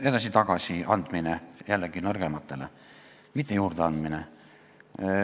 Jällegi, nõrgematele edasi-tagasi andmine, mitte juurdeandmine.